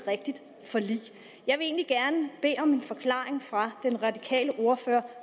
rigtigt forlig jeg vil gerne bede om en forklaring fra den radikale ordfører